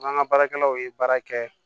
N'an ka baarakɛlaw ye baara kɛ